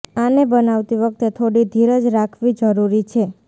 આને બનાવતી વખતે થોડી ધીરજ રાખવી જરૂરી છે